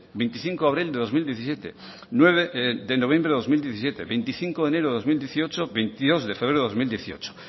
veinticinco de abril de dos mil diecisiete nueve de noviembre de dos mil diecisiete veinticinco de enero de dos mil dieciocho veintidós de febrero de dos mil dieciocho